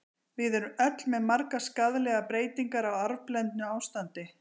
Við erum öll með margar skaðlegar breytingar, á arfblendnu ástandi.